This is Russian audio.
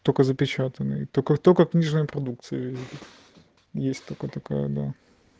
только запечатанный только-только книжной продукции есть такой такая да